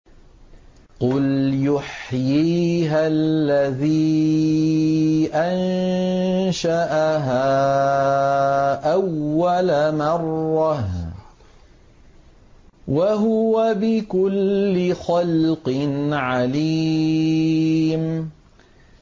قُلْ يُحْيِيهَا الَّذِي أَنشَأَهَا أَوَّلَ مَرَّةٍ ۖ وَهُوَ بِكُلِّ خَلْقٍ عَلِيمٌ